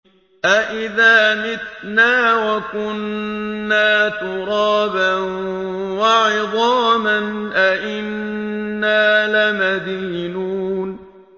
أَإِذَا مِتْنَا وَكُنَّا تُرَابًا وَعِظَامًا أَإِنَّا لَمَدِينُونَ